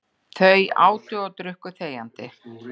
Þau átu og drukku þegjandi.